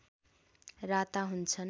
राता हुन्छन्